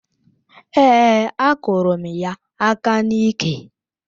Èé, akụrụ m ya aka n'iké